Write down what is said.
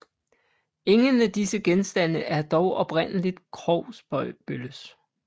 Ingen af disse genstande er dog oprindeligt Krogsbølles